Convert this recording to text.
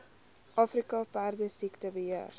afrika perdesiekte beheer